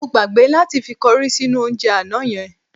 Mo gbàgbé láti fi kọrí sínú oúnjẹ àná yẹn.